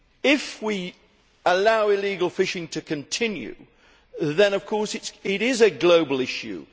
If we allow illegal fishing to continue, then of course it is a global issue.